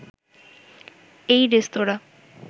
এই রেস্তোঁরা